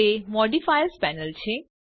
તે modifiers panel છે